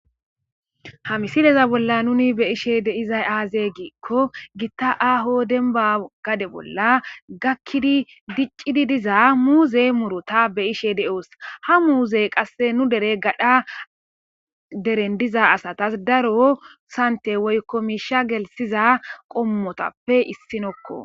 ha misileza bolla nuni beyishe deizay aaze giikko gitta aho demba gade bolla gakkidi diccidi diza muuzey murota beyishe deoos ha muuzey qasse nu dere gadha deren diza asatas daro sante woykko miisha gelsiza qommotappe issinokko